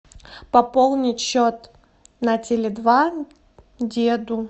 пополнить счет на теле два деду